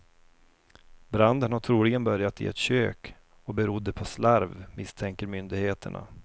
Branden har troligen börjat i ett kök och berodde på slarv, misstänker myndigheterna.